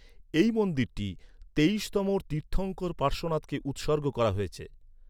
এই মন্দিরটি তেইশতম তীর্থঙ্কর পার্শ্বনাথকে উৎসর্গ করা হয়েছে।